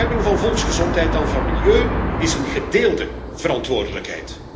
Bescherming van volksgezondheid en van milieu is een gedeelde verantwoordelijkheid.